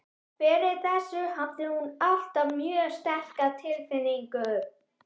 Fyrir þessu hafði hún alltaf mjög sterka tilfinningu.